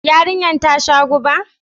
Yarinyar ta sha guba?